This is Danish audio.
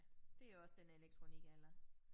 Ja det jo også den elektronikalder